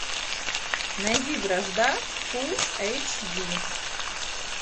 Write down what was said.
найди вражда фул эйч ди